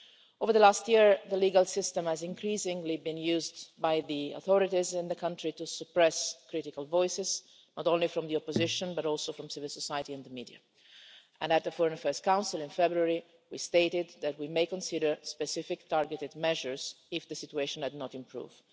Over the last year the legal system has increasingly been used by the authorities in the country to suppress critical voices, not only from the opposition but also from civil society and the media, and at the Foreign Affairs Council in February, we stated that we may consider specific targeted measures if the situation had not improved.